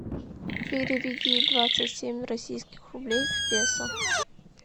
переведи двадцать семь российских рублей в песо